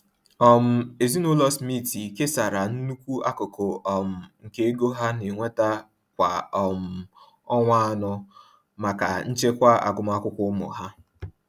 um Ụlọ ezinaụlọ Smith kesara nnukwu akụkụ um nke ego ha na-enweta kwa um ọnwa anọ maka nchekwa agụmakwụkwọ ụmụ ha.